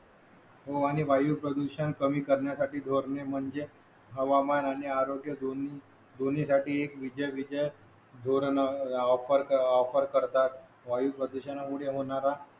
हो आणि वायू प्रदूषण कमी करण्यासाठी धोरणे म्हणजे हवामान आणि आरोग्य दोन्ही दोन्ही साठी एक विद्यापीठाला धोरण ऑफर ऑफर करतात वायू प्रदुषणामुळे होणारा